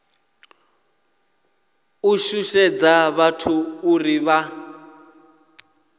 u shushedza vhathu uri vha